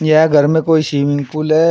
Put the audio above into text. यह घर में कोई स्विमिंग पूल है।